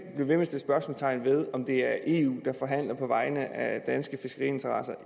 spørgsmålstegn ved om det er eu der forhandler på vegne af danske fiskeriinteresser